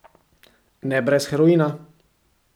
Ne brez heroina.